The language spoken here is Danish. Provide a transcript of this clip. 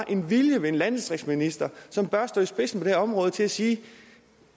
en vilje hos en landdistriktsminister som bør stå i spidsen her område til at sige